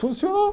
Funcionou.